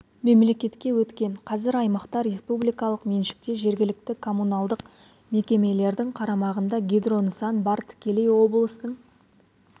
мемлекетке өткен қазір аймақта республикалық меншікте жергілікті коммуналдық мекемелердің қарамағында гидро нысан бар тікелей облыстың